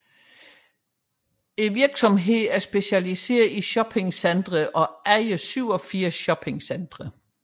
Virksomheden er specialiseret i shoppingcentre og ejer 87 shoppingcentre